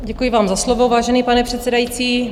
Děkuji vám za slovo, vážený pane předsedající.